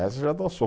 Essa já dançou.